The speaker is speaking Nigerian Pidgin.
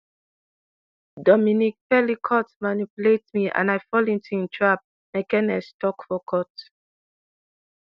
dominique pelicot manipulate me and i fall into im trap mekenese tok for court